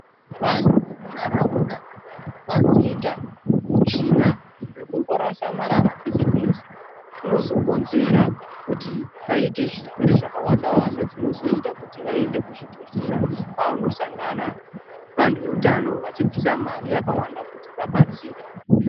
Vantu vemunharaunda vanoita hutsvina hwekungorasa marara pese-pese, zvinozokonzera kuti vaite zvirwere zvakawanda-wanda, zvinozoita kuti vaende kuzvibhedhlera pavanosangana nevantu veutano vachibvisa mari yakavanda kuti vadetserwe.